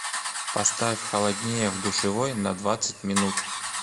поставь холоднее в душевой на двадцать минут